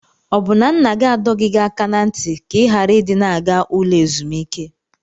Ọ bụ na nna gị adọghị gị aka na ntị ka ị ghara ị dị na-aga ụlọ ezumike?